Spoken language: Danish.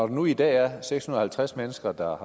nu i dag er seks hundrede og halvtreds mennesker der